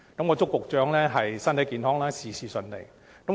我祝高局長身體健康，事事順利。